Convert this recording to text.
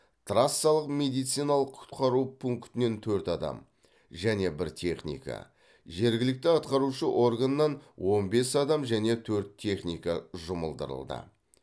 трассалық медициналық құтқару пунктінен төрт адам және бір техника жергілікті атқарушы органнан он бес адам және төрт техника жұмылдырылды